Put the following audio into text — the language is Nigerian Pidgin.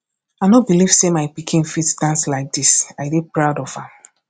i no believe say my pikin fit dance like dis i dey proud of am